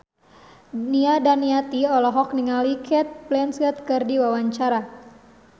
Nia Daniati olohok ningali Cate Blanchett keur diwawancara